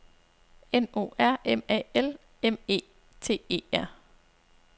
N O R M A L M E T E R